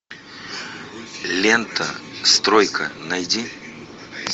лента стройка найди